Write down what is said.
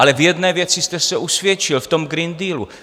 Ale v jedné věci jste se usvědčil, v tom Green Dealu.